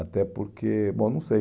Até porque, bom, não sei.